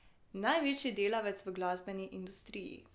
Največji delavec v glasbeni industriji.